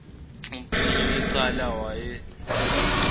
umphenyi wecala wayesafuna